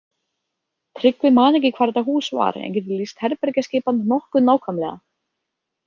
Tryggvi man ekki hvar þetta hús var en getur lýst herbergjaskipan nokkuð nákvæmlega.